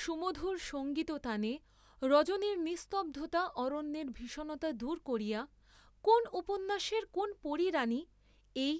সুমধুর সঙ্গীততানে রজনীর নিস্তব্ধতা অরণ্যের ভীষণতা দূর করিয়া কোন্ উপ্যাসের কোন পরী রাণী এ,